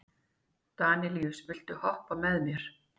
Danelíus, viltu hoppa með mér?